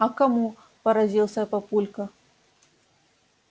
а кому поразился папулька